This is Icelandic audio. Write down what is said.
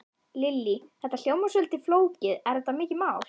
Lillý: Þetta hljómar svolítið flókið, er þetta mikið mál?